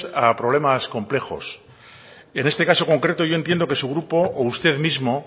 a problemas complejos en este caso concreto yo entiendo que su grupo o usted mismo